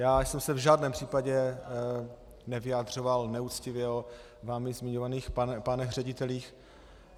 Já jsem se v žádném případě nevyjadřoval neuctivě o vámi zmiňovaných pánech ředitelích.